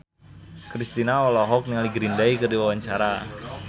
Kristina olohok ningali Green Day keur diwawancara